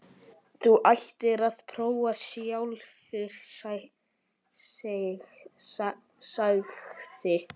Þú ættir að prófa sjálfur, sagði